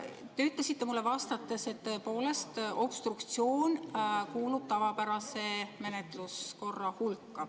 Te ütlesite mulle vastates, et tõepoolest obstruktsioon kuulub tavapärase menetluskorra hulka.